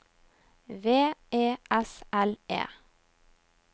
V E S L E